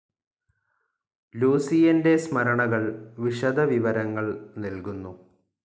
ലൂസിയൻ്റെ സ്മരണകൾ വിശദവിവരങ്ങൾ നൽകുന്നു.